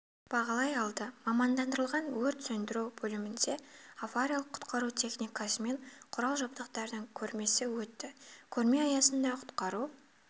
бағалай алды мамандандырылған өрт сөндіру бөлімінде ариялық-құтқару техникасы мен құрал-жабдықтардың көрмесі өтті көрме аясында құтқару